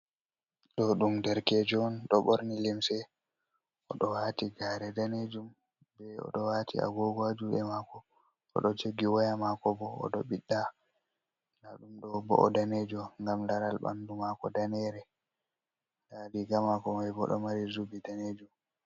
Ɗo ɗum darkejo on ɗo ɓorni limse o ɗo wati gare danejum be oɗo wati a gogo ha juɗe mako, oɗo jogi waya mako bo oɗo biɗɗa, nda ɗum ɗo bo’o danejo ngam laral ɓanɗu mako danere, nda riga mako mai bo ɗo mari zubi danejum.